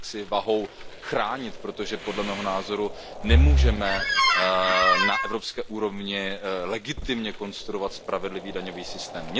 vahou chránit, protože podle mého názoru nemůžeme na evropské úrovni legitimně konstruovat spravedlivý daňový systém.